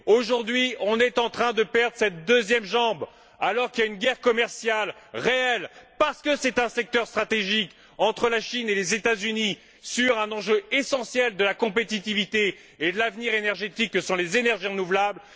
Aujourd'hui, nous sommes en train de perdre cette deuxième jambe, alors que sévit une guerre commerciale réelle parce que c'est un secteur stratégique entre la Chine et les États Unis, sur un enjeu essentiel de la compétitivité et de l'avenir énergétique que sont les énergies renouvelables.